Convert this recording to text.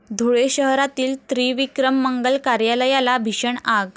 धुळे शहरातील त्रिविक्रम मंगल कार्यालयाला भीषण आग